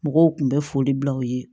Mɔgɔw kun bɛ foli bila u ye